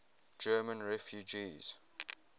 german refugees